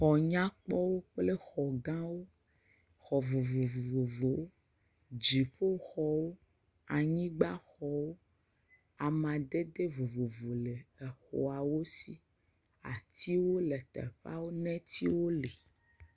xɔ nyakpɔwo kple xɔ gãwo kple xɔ vovovowo dziƒoxɔwo anyigbaxɔw amadede vovovo le xɔawo si atiwo le teƒa enetiwo li